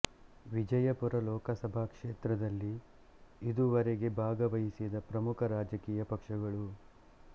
ವಿಜಯಪುರ ಲೋಕಸಭಾ ಕ್ಷೇತ್ರದಲ್ಲಿ ಇದುವರೆಗೆ ಭಾಗವಹಿಸಿದ ಪ್ರಮುಖ ರಾಜಕೀಯ ಪಕ್ಷಗಳು